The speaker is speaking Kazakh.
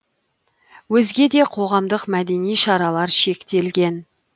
өзге де қоғамдық мәдени шаралар шектелген